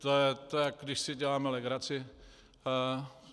To je, jako když si děláme legraci.